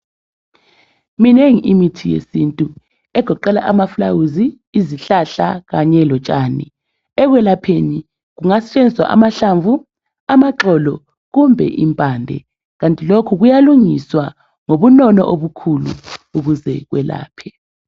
Iminengi imithi yesintu egoqela amafulawuzi, izihlahla kanye lotshani. Ekwelapheni kungasetshenziswa amahlamvu, amaxolo kumbe impande. Kanti lokhu kuyalungiswa ngobunono obukhulu ukuze ekwelaphe.